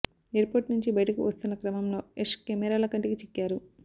airport నుంచి బయటకు వస్తున్న క్రమంలో యశ్ కెమెరాల కంటికి చిక్కారు